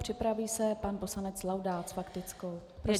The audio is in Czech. Připraví se pan poslanec Laudát s faktickou.